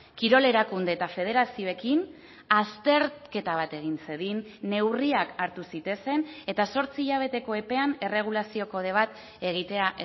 kirol erakunde eta federazioekin azterketa bat egin zedin neurriak hartu zitezen eta zortzi hilabeteko epean erregulazio kode bat egitea